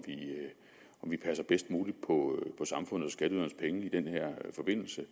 vi passer bedst muligt på samfundet og skatteydernes penge i den her forbindelse